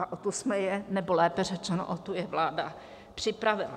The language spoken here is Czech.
A o tu jsme je, nebo lépe řečeno, o tu je vláda připravila.